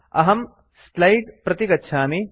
अहम् स्लैड प्रति गच्छामि